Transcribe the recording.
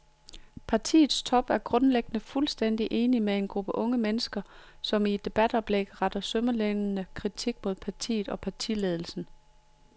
Partiets top er grundlæggende fuldstændig enig med en gruppe unge mennesker, som i et debatoplæg retter sønderlemmende kritik mod partiet og partiledelsen.